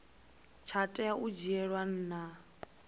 tsha tea u dzhielwa nha